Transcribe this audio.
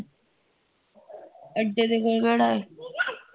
ਅੱਡੇ ਦੇ ਕੋਲ ਕਿਹੜਾ ਹੈ